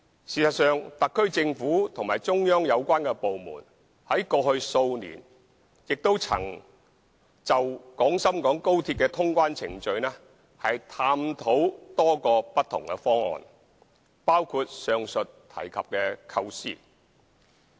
事實上，特區政府和中央有關部門過去數年曾就廣深港高鐵的通關程序探討過多個不同的方案，包括上述提及的構思。